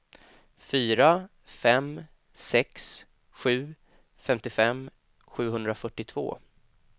fyra fem sex sju femtiofem sjuhundrafyrtiotvå